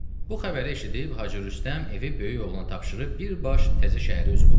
Bu xəbəri eşidib Hacı Rüstəm evi böyük oğlana tapşırıb birbaş təzə şəhərə üz qoydu.